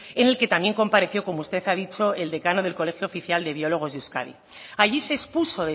en el que también compareció como usted ha dicho el decano del colegio oficial de biólogos de euskadi allí se expuso